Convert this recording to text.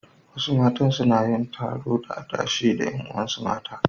Wasu matan suna yin taro na adashe da ƴan uwansu mata.